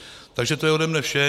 Takže to je ode mě vše.